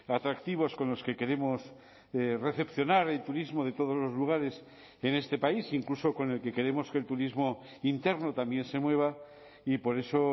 atractivos con los que queremos recepcionar el turismo de todos los lugares en este país incluso con el que queremos que el turismo interno también se mueva y por eso